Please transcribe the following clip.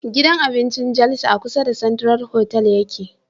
Gidan abincin jalsa a kusa da central hotal yake